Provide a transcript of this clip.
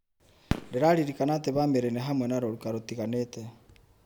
Ndĩraririkana atĩ bamĩrĩ nĩ hamwe na rũruka rũtiganĩte.